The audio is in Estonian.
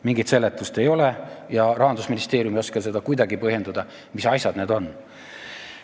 Mingit seletust ei ole ja Rahandusministeerium ei oska seda kuidagi põhjendada, mis asjad need on.